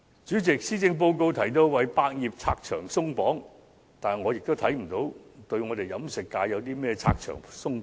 主席，施政報告提到為百業拆牆鬆綁，但我看不到對飲食界如何拆牆鬆綁。